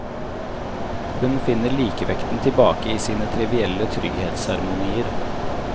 Hun finner likevekten tilbake i sine trivielle trygghetsseremonier.